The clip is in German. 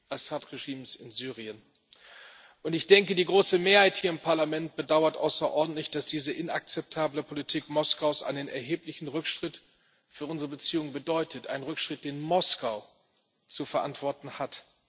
Assad-Regimes in Syrien. Ich denke die große Mehrheit im Parlament bedauert außerordentlich, dass diese inakzeptable Politik Moskaus einen erheblichen Rückschritt für unsere Beziehungen bedeutet, einen Rückschritt, den Moskau zu verantworten hat.